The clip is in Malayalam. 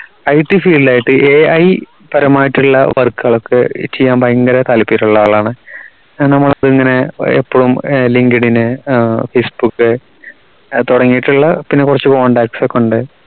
ITfield ൽ ആയിട്ട് AI പരമായിട്ടുള്ള work കൾ ഒക്കെ ചെയ്യാൻ ഭയങ്കര താല്പര്യള്ള ആളാണ് നമ്മളിങ്ങനെ എപ്പളും linkedin facebook തുടങ്ങിട്ടുള്ള പിന്നെ കുറച്ചു contacts ഒക്കെയുണ്ട്